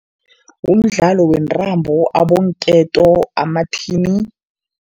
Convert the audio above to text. Umdlalo wentambo, abonketo, amathini.